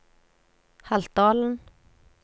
Haltdalen